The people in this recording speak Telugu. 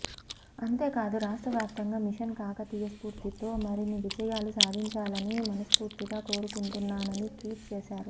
అంతేకాదు రాష్ట్రవ్యాప్తంగా మిషన్ కాకతీయ స్పూర్తితో మరిన్ని విజయాలు సాధించాలని మనస్పూర్తిగా కోరుకుంటున్నానని ట్వీట్ చేశారు